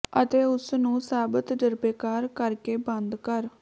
ਅਤੇ ਉਸ ਨੂੰ ਸਿਰਫ ਸਭ ਤਜਰਬੇਕਾਰ ਿਾਸ ਕਰਕੇ ਬੰਦ ਕਰ